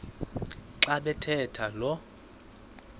xa bathetha lo